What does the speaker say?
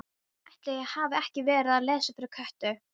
Ætli ég hafi ekki verið að lesa fyrir Kötu.